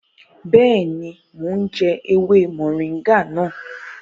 Bẹẹni, mo ǹ jẹ ewé moringa nàá